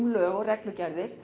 lög og reglugerðir